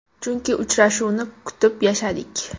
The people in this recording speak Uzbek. Chunki uchrashuvni kutib yashadik.